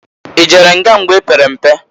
I jere nga mgbe i pere mpe?